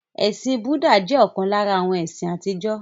Ẹ̀sìn Búdà jẹ́ ọ̀kan lára àwọn ẹ̀sìn àtijọ́.